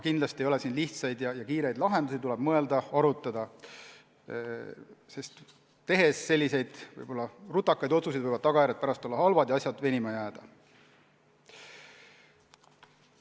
Kindlasti ei ole siin lihtsaid ja kiireid lahendusi, tuleb mõelda-arutada, sest kui teha võib-olla rutakaid otsuseid, siis võivad tagajärjed pärast halvad olla ja asjad venima jääda.